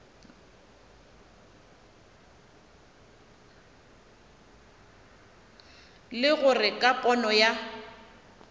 le gore ka pono ya